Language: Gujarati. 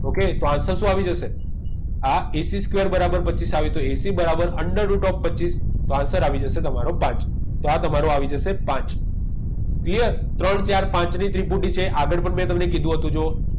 Okay તો answer શું આવી જશે આ ACsquare બરાબર પચીસ આવે તો AC બરાબર under route of પચીસ તો answer આવી જશે તમારો પાંચ તો આ તમારો આવી જશે પાંચ clear ત્રણ ચાર પાંચની ત્રિપુટી છે આગળ પણ મેં તમને કીધું હતું જો